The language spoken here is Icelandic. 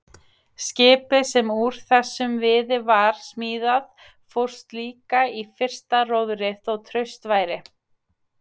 Skipið sem úr þessum viði var smíðað fórst líka í fyrsta róðri þó traust væri.